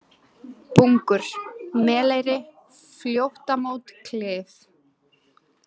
Bungur, Meleyri, Fljótamót, Klif